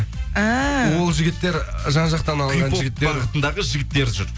әәә ол жігіттер жан жақтан алынған жігіттер хип хоп бағытындағы жігіттер жүр